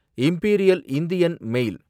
imperial Indian மேல்